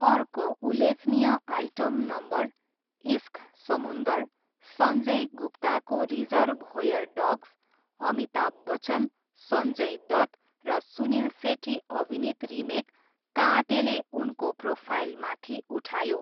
अर्को उल्लेखनीय item number 'Ishq Samundar', Sanjay गुप्ताको 'रिजर्भोयर डग्स', अमिताभ बच्चन, सञ्जय दत्त, र सुनिल सेट्टी अभिनीत रिमेक 'काटें'ले उनको प्रोफाइल माथि उठायो।